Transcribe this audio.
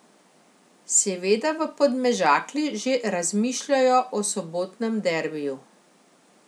Seveda v Podmežakli že razmišljajo o sobotnem derbiju.